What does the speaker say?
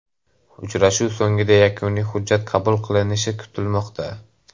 Uchrashuv so‘ngida yakuniy hujjat qabul qilinishi kutilmoqda.